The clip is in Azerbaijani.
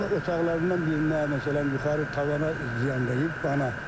Amma otaqlarından birinə, məsələn, yuxarı tavana ziyan dəyib, bana.